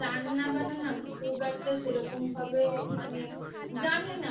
রান্নাবান্না না খুব একটা সেরকম ভাবে মানে জানি না